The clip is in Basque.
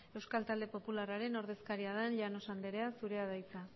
euskal talde popularraren ordezkaria den llanos anderea zurea da hitza